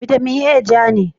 Vitamin A ja ne.